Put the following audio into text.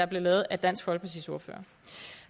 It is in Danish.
blev lavet af dansk folkepartis ordfører